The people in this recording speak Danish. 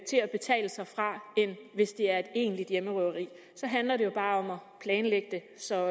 til at betale sig fra end hvis det er et egentligt hjemmerøveri så handler det jo bare om at planlægge det så